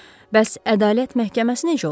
Bəs ədalət məhkəməsi necə olsun?